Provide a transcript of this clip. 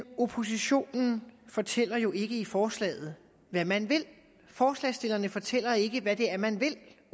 oppositionen fortæller jo ikke i forslaget hvad man vil forslagsstillerne fortæller ikke hvad det er man vil